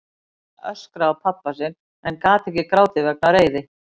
Kamilla öskraði á pabba sinn en gat ekki grátið vegna reiði.